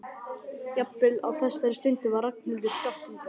Jafnvel á þessari stundu var Ragnhildur skammt undan.